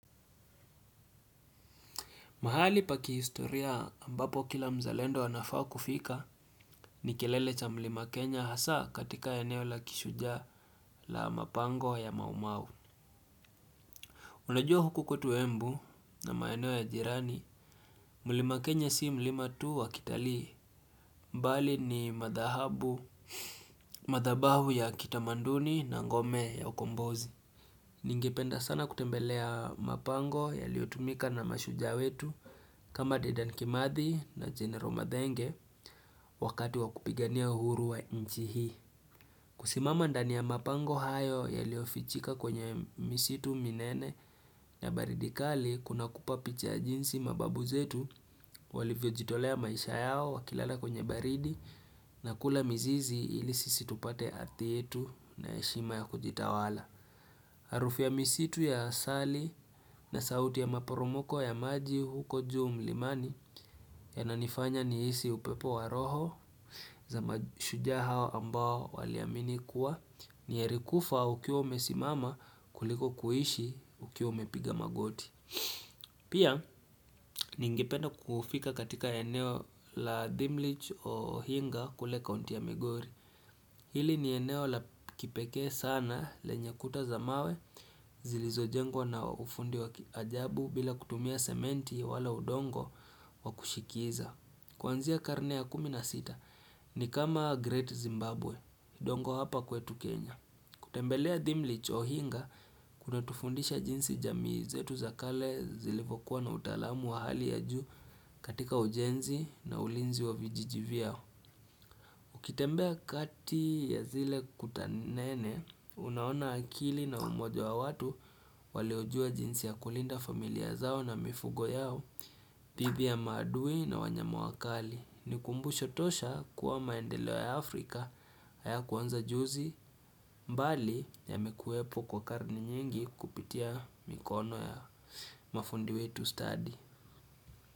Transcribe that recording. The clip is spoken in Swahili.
Mahali pa kihistoria ambapo kila mzalendo anafaa kufika ni kilele cha mlima Kenya hasa katika eneo la kishujaa la mapango ya maumau. Unajua huku kwetu embu na maeneo ya jirani, mlima Kenya si mlima tu wakitalii, mbali ni madhahabu, madhabahu ya kitamaduni na ngome ya ukombozi. Ningependa sana kutembelea mapango yaliotumika na mashujaa wetu kama dedan kimathi na general mathenge wakati wakupigania uhuru wa nchi hii. Kusimama ndani ya mapango hayo yaliofichika kwenye misitu minene na baridi kali kunakupa picha ya jinsi mababu zetu walivyojitolea maisha yao wakilala kwenye baridi na kula mizizi ili sisi tupate hadhi yetu na heshima ya kujitawala. Harufu ya misitu ya asali na sauti ya maporomoko ya maji huko juu mlimani yananifanya nihisi upepo wa roho za mashujaa hawa ambao waliamini kuwa ni heri kufa ukiwa umesimama kuliko kuishi ukiwa umepiga magoti. Pia ningependa kufika katika eneo la thimlich ohinga kule kaunti ya migori Hili ni eneo la kipekee sana lenye kuta za mawe zilizojengwa na ufundi wa kiajabu bila kutumia sementi wala udongo wakushikiza Kuanzia karne ya kumi na sita ni kama Great Zimbabwe, dongo hapa kwetu Kenya kutembelea thimlich ohinga, kuna tufundisha jinsi jamii zetu za kale zilivyokuwa na utaalamu wa hali ya juu katika ujenzi na ulinzi wa vijiji vyao. Ukitembea kati ya zile kuta nene, unaona akili na umoja wa watu waliojua jinsi ya kulinda familia zao na mifugo yao, dhidi ya maadui na wanyama wakali ni kumbusho tosha kuwa maendeleo ya Afrika haya kuanza juzi mbali yamekuwepo kwa karne nyingi kupitia mikono ya mafundi wetu stadi.